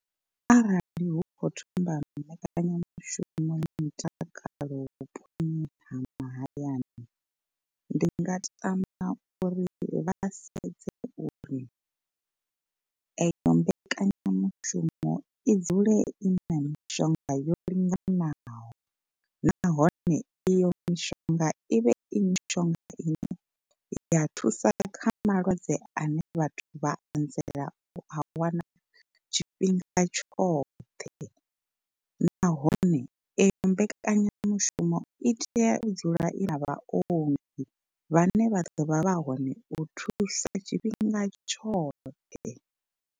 Arali hu kho thoma mbekanyamushumo ya mutakalo vhuponi ha mahayani ndi nga tama uri vha sedze uri eyo mbekanyamushumo i dzule i na mishonga yo linganaho. Nahone iyo mishonga i vhe i mishonga ine ya thusa kha malwadze ane vhathu vha anzela u a wana tshifhinga tshoṱhe, nahone eyo mbekanyamushumo i tea u dzula i na vhaongi vhane vha ḓo vha vha hone u thusa tshifhinga tshoṱhe.